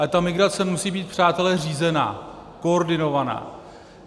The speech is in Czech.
Ale ta migrace musí být, přátelé, řízená, koordinovaná.